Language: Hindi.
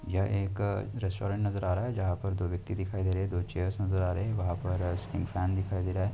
यह एक अ रेस्टोरेंट नजर आ रहा है जहां पर दो व्यक्ति दिखाई दे रहे हैं दो चेयर्स नजर आ रहे हैं वहां पर फैन दिखाई दे रहा है।